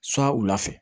So wula fɛ